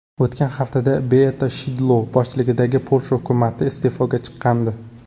O‘tgan haftada Beata Shidlo boshchiligidagi Polsha hukumati iste’foga chiqqandi.